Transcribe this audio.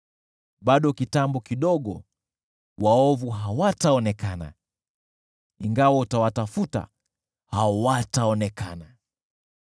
Bado kitambo kidogo, nao waovu hawataonekana, ingawa utawatafuta, hawataonekana.